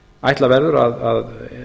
ætla verður að